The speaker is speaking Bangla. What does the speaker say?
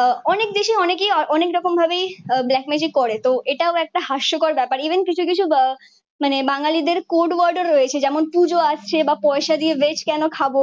আহ অনেক বেশি অনেকেই অনেক রকম ভাবেই আহ ব্ল্যাক ম্যাজিক করে। তো এটাও একটা হাস্যকর ব্যাপার। ইভেন কিছু কিছু মানে বাঙ্গালীদের কোড ওয়ার্ডও রয়েছে যেমন পুজো আসছে বা পয়সা দিয়ে ভেজ কেন খাব?